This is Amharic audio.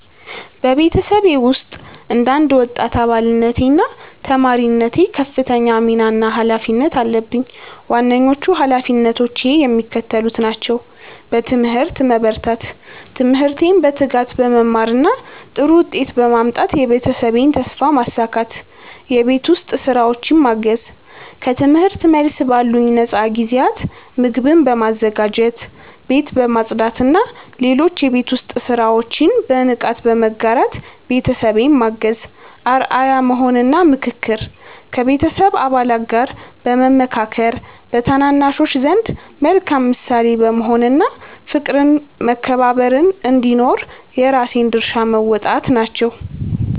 በቤተሰቤ ውስጥ እንደ አንድ ወጣት አባልነቴና ተማሪነቴ ከፍተኛ ሚና እና ኃላፊነት አለብኝ። ዋነኞቹ ኃላፊነቶቼ የሚከተሉት ናቸው፦ በትምህርት መበርታት፦ ትምህርቴን በትጋት በመማርና ጥሩ ውጤት በማምጣት የቤተሰቤን ተስፋ ማሳካት። የቤት ውስጥ ሥራዎችን ማገዝ፦ ከትምህርት መልስ ባሉኝ ነፃ ጊዜያት ምግብ በማዘጋጀት፣ ቤት በማጽዳትና ሌሎች የቤት ውስጥ ሥራዎችን በንቃት በመጋራት ቤተሰቤን ማገዝ። አርአያ መሆን እና ምክክር፦ ከቤተሰብ አባላት ጋር በመመካከር፣ በታናናሾች ዘንድ መልካም ምሳሌ በመሆን እና ፍቅርና መከባበር እንዲኖር የራሴን ድርሻ መወጣት ናቸው።